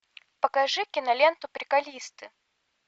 покажи киноленту приколисты